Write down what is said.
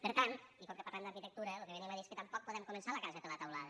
per tant i com que parlem d’arquitectura lo que venim a dir és que tampoc podem començar la casa per la teulada